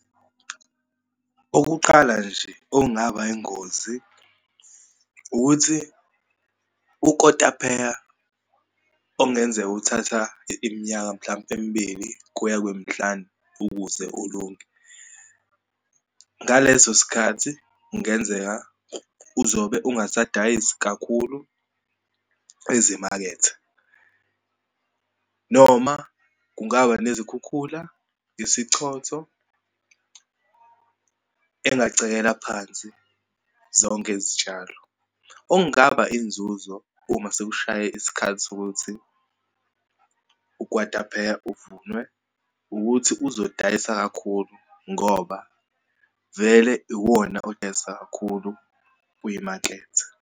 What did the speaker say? Okuqala nje, okungaba yingozi ukuthi ukotapeya okungenzeka uthatha iminyaka mhlampe emibili kuya kwemihlanu ukuze ulunge. Ngaleso sikhathi kungenzeka uzobe ungasadayisi kakhulu ezimakethe, noma kungaba nezikhukhula, isichotho engacekela phansi zonke izitshalo. Okungaba inzuzo uma sekushaye isikhathi sokuthi ukukwatapeya uvunywe ukuthi uzodayisa kakhulu, ngoba vele iwona odayisa kakhulu kuyimaketha.